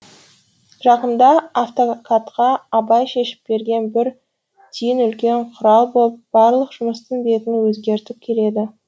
жақында адвокатқа абай шешіп берген бір түйін үлкен құрал боп барлық жұмыстың бетін өзгертіп келеді